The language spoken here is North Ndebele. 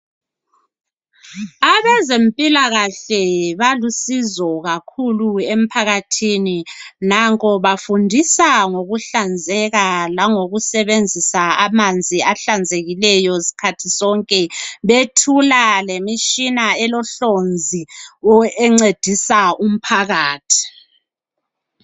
Abezempilakahle balusizo kakhulu emphakathini nanko bafundisa ngokuhlanzeka lango kusebenzisa amanzi ahlanzekileyo sikhathi sonke. Bethula lemitshina elohlonzi encedisa umphakathi.